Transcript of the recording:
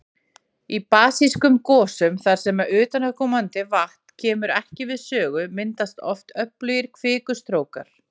Í basískum gosum þar sem utanaðkomandi vatn kemur ekki við sögu, myndast oft öflugir kvikustrókar.